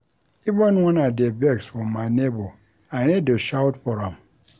Even wen I dey vex for my nebor I no dey shout for am.